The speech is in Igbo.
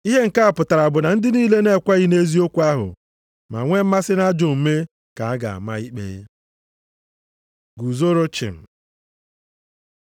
Ihe nke a pụtara bụ na ndị niile na-ekweghị nʼeziokwu ahụ ma nwee mmasị nʼajọ omume ka a ga-ama ikpe. Guzoro chịm